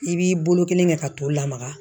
I b'i bolo kelen kɛ ka t'u lamaga